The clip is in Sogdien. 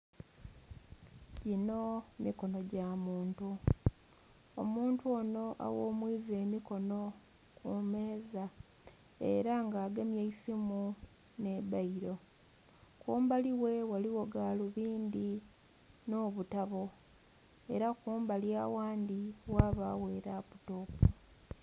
Gino mikono gyamuntu, omuntu ono aghumwiza emikono kumeeza era nga agemye eisimu n'ebbairo. Kumbali ghe ghaligho galubindhi nobutabo era kumbali aghandhi ghabagho eraputopu.